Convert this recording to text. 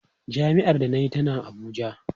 Jami’ar da na yi tana Abuja.